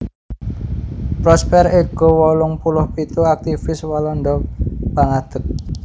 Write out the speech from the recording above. Prosper Ego wolung puluh pitu aktivis Walanda pangadeg